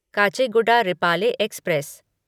Kacheguda Repalle express